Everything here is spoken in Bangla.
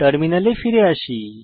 টার্মিনালে ফিরে আসি